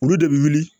Olu de bi wuli